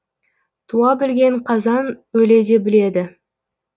туа білген қазан өле де біледі